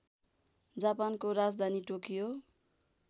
जापानको राजधानी टोकियो